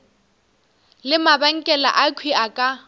le mabenkele akhwi a ka